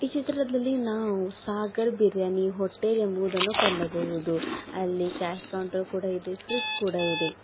ಈ ಚಿತ್ರದಲ್ಲಿ ನಾವು ಸಾಗರ್ ಬಿರಿಯಾನಿ ಹೋಟೆಲ್ ಎಂಬುದನ್ನು ಕಂಡಬಹುದು ಅಲ್ಲಿ ಕ್ಯಾಶ್ ಕೌಂಟರ್ ಕೂಡ ಇದೆ ಫ್ರಿಡ್ಜ್ ಕೂಡ ಇದೆ.